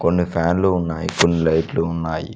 కొన్ని ఫ్యాన్లు ఉన్నాయి కొన్ని లైట్లు ఉన్నాయి.